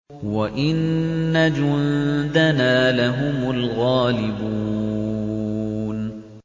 وَإِنَّ جُندَنَا لَهُمُ الْغَالِبُونَ